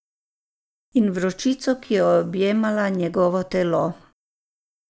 In vročico, ki je objemala njegovo telo.